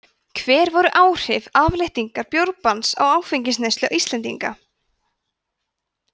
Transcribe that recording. hver voru áhrif afléttingar bjórbanns á áfengisneyslu íslendinga